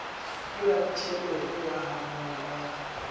ke raditjhelete ya hafang ka